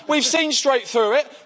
We've seen straight through it.